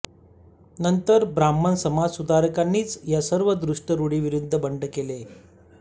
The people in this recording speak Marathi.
नंतर ब्राह्मण समाजसुधारकांनीच या सर्व दुष्ट रुढींविरुद्ध बंड केले